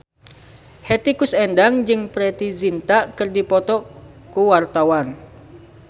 Hetty Koes Endang jeung Preity Zinta keur dipoto ku wartawan